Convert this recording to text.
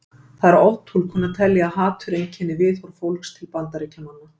Það er oftúlkun að telja að hatur einkenni viðhorf fólks til Bandaríkjamanna.